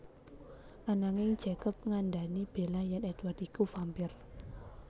Ananging Jacob ngandhani Bella yèn Édward iku vampire